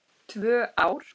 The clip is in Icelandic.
Tvö ár!